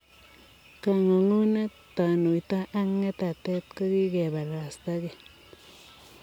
Kangungunet, tanuito ak ngetatet ko kikeparastaa kokeny.